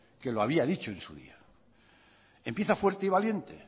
que lo había dicho en su día empieza fuerte y valiente